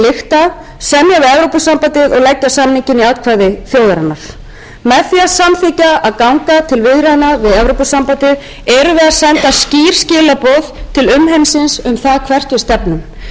samþykkja að ganga til viðræðna við evrópusambandið erum við að senda skýr skilaboð til umheimsins um það hvert við stefnum við erum